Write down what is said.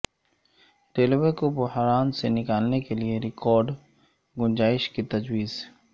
railway کو بحران سے نکالنے کیلئے ریکارڈ گنجائش کی تجویز